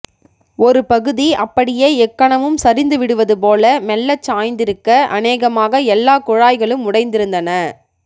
ஒருபகுதி அப்படியே எக்கணமும் சரிந்துவிடுவதுபோல மெல்லச்சாய்ந்திருக்க அனேகமாக எல்லா குழாய்களும் உடைந்திருந்தன